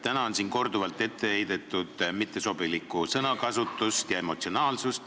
Täna on siin korduvalt ette heidetud mittesobilikku sõnakasutust ja emotsionaalsust.